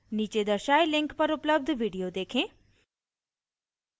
नीचे दर्शाये link पर उपलब्ध video देखें: